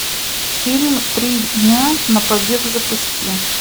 фильм три дня на побег запусти